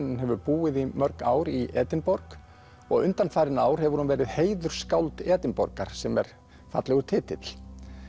en hefur búið í mörg ár í Edinborg og undanfarin ár hefur hún verið Edinborgar sem er fallegur titill